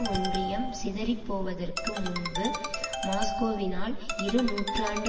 ஒன்றியம் சிதறிப் போவதற்கு முன்பு மாஸ்கோவினால் இரு நூற்றாண்டு